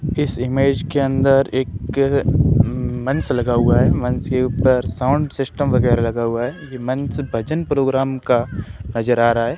इस ईमेज के अंदर एक मंच लगा हुआ है मंच के ऊपर साउंड सिस्टम वगैरह लगा हुआ है ये मंच भजन प्रोग्राम का नजर आ रहा है।